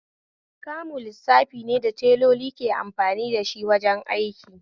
Kamu lissafi ne da teloli ke amfani dashi wajen aiki